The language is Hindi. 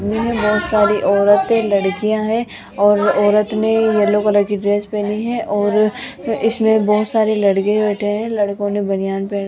में बहोत सारी औरतें लड़कियां है और औरत ने येलो कलर की ड्रेस पहनी है और इसमें बहोत सारे लड़के बैठे है लड़कों ने बनियान पहन --